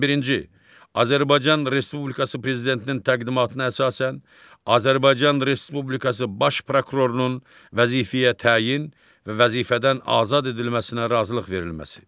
On birinci, Azərbaycan Respublikası Prezidentinin təqdimatına əsasən Azərbaycan Respublikası Baş prokurorunun vəzifəyə təyin və vəzifədən azad edilməsinə razılıq verilməsi.